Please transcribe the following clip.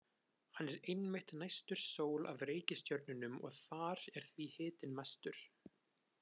Hann er einmitt næstur sól af reikistjörnunum og þar er því hitinn mestur.